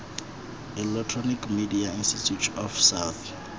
electronic media institute of south